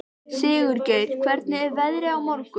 Sigurgeir, hvernig er veðrið á morgun?